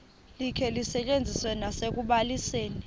likhe lisetyenziswe nasekubalisweni